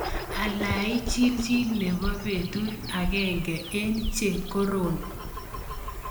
Alai chilchil nebo petut agenge eng' che kororn